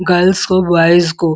girls को boys को --